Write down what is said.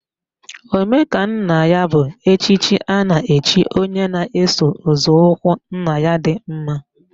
Omekannaya bụ echichi a na-echi onye na-eso nzọụkwụ nna ya dị mma.